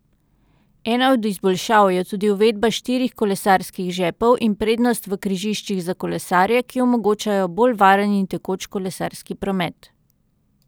Ena od izboljšav je tudi uvedba štirih kolesarskih žepov in prednost v križiščih za kolesarje, ki omogočajo bolj varen in tekoč kolesarski promet.